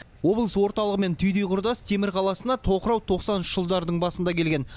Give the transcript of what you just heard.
облыс орталығымен түйдей құрдас темір қаласына тоқырау тоқсаныншы жылдардың басында келген